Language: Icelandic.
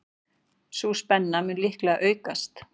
Sú spenna mun líklega aukast.